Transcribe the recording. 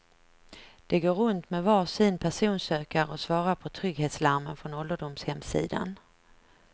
De går runt med varsin personsökare och svarar på trygghetslarmen från ålderdomshemssidan.